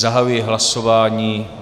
Zahajuji hlasování.